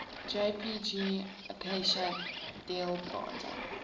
jpg acacia dealbata